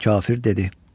Kafir dedi.